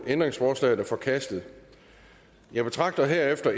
ændringsforslaget er forkastet jeg betragter herefter